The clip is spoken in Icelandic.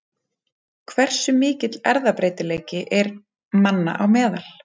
Hversu mikill erfðabreytileiki er manna á meðal?